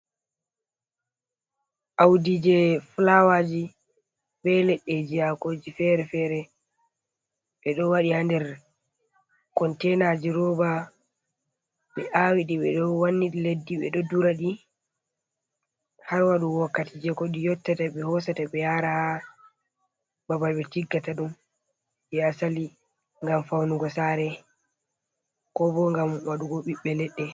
Awdi jey fulawaaji be leɗɗeeji hakooji fere-fere. Ɓe ɗo waɗi haa nder kontenaaji roba .Ɓe aawi ɗi ɓe ɗo wanni ɗi leddi, ɓe ɗo duraɗi ,har waɗugo wakkati jey ko ɗi yottata, ɓe hosata ɓe yaara haa babal ɓe tiggata ɗum jey asali, ngam fawnugo saare ko bo ngam waɗugo ɓiɓɓe leɗɗe.